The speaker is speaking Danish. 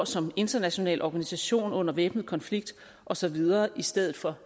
som international organisation under væbnet konflikt og så videre i stedet for